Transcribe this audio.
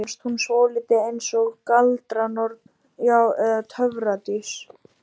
Mér fannst hún svolítið eins og galdranorn, já eða töfradís.